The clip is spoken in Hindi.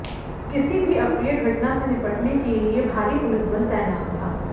किसी भी अप्रिय घटना से निपटने के लिये भारी पुलिस बल तैनात था